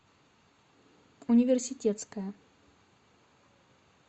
университетская